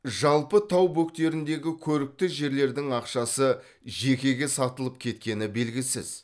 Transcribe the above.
жалпы тау бөктеріндегі көрікті жерлердің ақшасы жекеге сатылып кеткені белгісіз